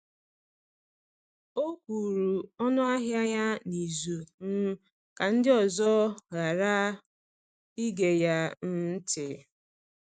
O kwuru ọnụahịa ya n’izu um ka ndị ọzọ ghara ige ya um ntị.